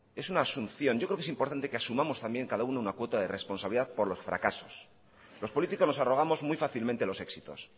es una solución yo creo que es importante también que asumamos también cada uno una cuota de responsabilidad por los fracasos los políticos nos arrogamos muy fácilmente los éxitos